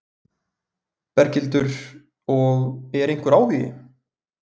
Berghildur: Og er einhver áhugi?